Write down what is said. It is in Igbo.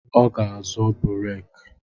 Ọ ga-azọ bureke